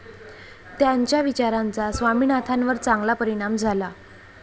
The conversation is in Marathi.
त्यांच्या विचारांचा स्वामिनाथांवर चांगला परिणाम झाला.